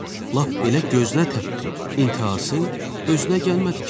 Lap belə gözünə təpdi, intəhası, özünə gəlmədi ki.